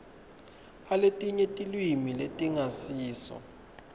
aletinye tilwimi letingasiso